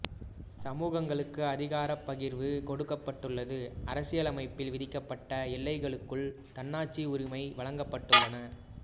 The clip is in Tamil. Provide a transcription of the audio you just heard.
சமூகங்களுக்கு அதிகாரப் பகிர்வு கொடுக்கப்பட்டுள்ளது அரசியலமைப்பில் விதிக்கப்பட்ட எல்லைகளுக்குள் தன்னாட்சி உரிமை வழங்கப்பட்டுள்ளன